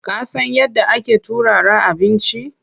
Ka san yadda ake turara abinci?